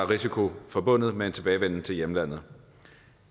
risiko forbundet med en tilbagevenden til hjemlandet